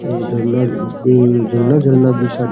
और झरना झरना भी है --